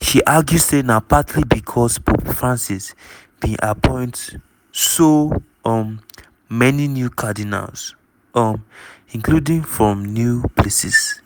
she argue say na partly becos pope francis bin appoint so um many new cardinals um including from new places.